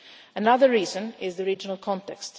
Another reason is the regional context.